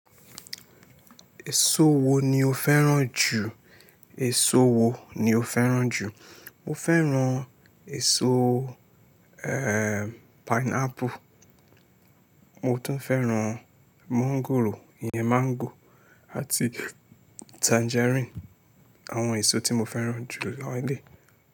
Èso wo ni o fẹ́ràn jù? Èso wo ni o fẹ́ràn jù? Mo fẹ́ràn èso, ehen pineapple. Mo tún fẹ́ràn mọ́ńgòrò, ìyẹ́ mango àti tangerine. Àwọn èso tí mo fẹ́ràn jù lẹ́yìn.